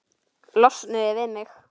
Losnuðu við mig!